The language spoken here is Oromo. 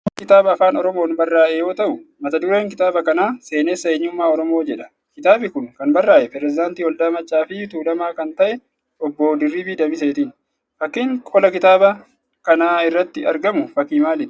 Kun kitaaba Afaan Oromoon barraa'e yoo ta'u, mata dureen kitaaba kanaa 'Seenessa Eenyummaa Oromoo' jedha. Kitaabi kun kan barraa'e Pireezidaantii Waldaa Maccaa fi Tuulamaa kan ta'e Obbo Dirribii Damiseetini. Fakkiin qola kitaabav kanaa irratti argamu fakkii maaliitii?